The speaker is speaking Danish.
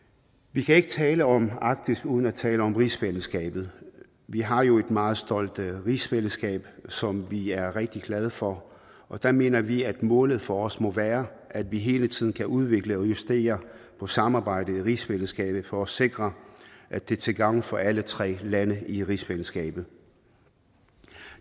vi kan ikke tale om arktis uden at tale om rigsfællesskabet vi har jo et meget stolt rigsfællesskab som vi er rigtig glade for og der mener vi at målet for os må være at vi hele tiden kan udvikle og justere på samarbejdet i rigsfællesskabet for at sikre at det er til gavn for alle tre lande i rigsfællesskabet